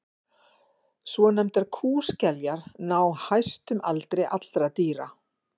svonefndar kúskeljar ná hæstum aldri allra dýra